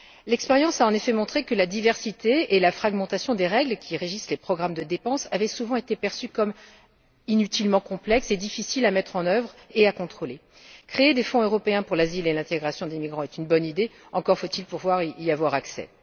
L'expérience a en effet montré que, du fait de leur diversité et de leur fragmentation, les règles qui régissent les programmes de dépenses avaient souvent été perçues comme inutilement complexes et difficiles à mettre en œuvre et à contrôler. Créer des fonds européens pour l'asile et l'intégration des migrants est une bonne idée, encore faut il pouvoir y avoir accès!